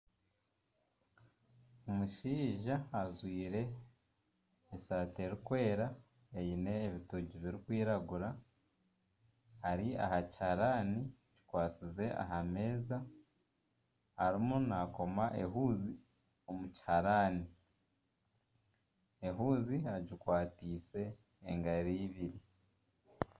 Omushaija ajwaire esaati erikwera eine ebitongi birikwiragura ari aha kihaarani kikwasize aha meeza erimu nakoma ehuuzi omu kihaarani, ehuuzi agikwatise engaro ibiri.